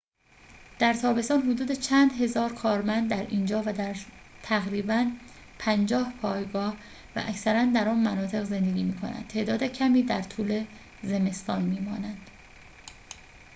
در تابستان حدود چند هزار کارمند در اینجا و در تقریباً پنجاه پایگاه و اکثراً در آن مناطق زندگی می‌کنند تعداد کمی در طول زمستان می‌مانند